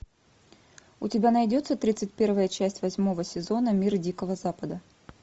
у тебя найдется тридцать первая часть восьмого сезона мир дикого запада